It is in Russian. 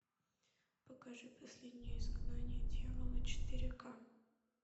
покажи последнее изгнание дьявола четыре ка